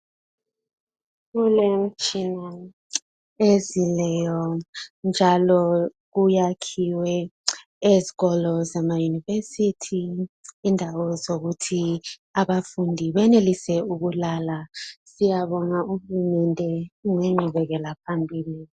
Kulemtshina ezileyo njalo kuyakhiwe ezikolo zama yunivesithi indawo zokuthi abafundi benelise ukulala siyabonga uhulumende ngenqubekela phambili